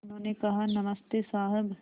उन्होंने कहा नमस्ते साहब